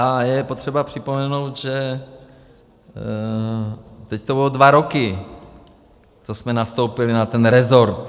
A je potřeba připomenout, že teď to budou dva roky, co jsme nastoupili na ten resort.